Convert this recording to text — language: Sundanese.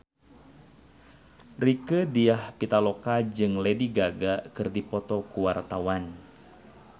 Rieke Diah Pitaloka jeung Lady Gaga keur dipoto ku wartawan